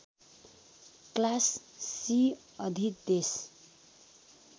class C अधिदेश